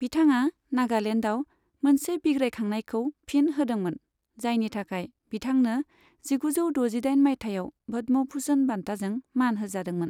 बिथाङा नागालेन्डाव मोनसे बिग्रायखांनायखौ फिन होदोंमोन, जायनि थाखाय बिथांनो जिगुजौ दजिदाइन माइथायाव पद्म भुषण बान्थाजों मान होजादोंमोन।